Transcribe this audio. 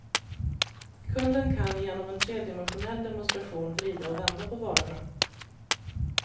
Kunden kan genom en tredimensionell demonstration vrida och vända på varorna.